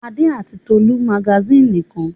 Adé àti Tolú rs magasínì nìkan.